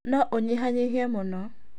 no ũnyihanyihie mũno.